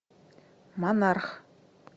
монарх